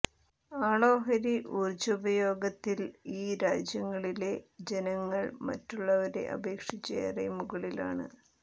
ആളോഹരി ഈർജ്ജോപഭോഗത്തിൽ ഈ രാജ്യങ്ങളിലെ ജനങ്ങൾ മറ്റുള്ളവരെ അപേക്ഷിച്ച് ഏറെ മുകളിലാണ്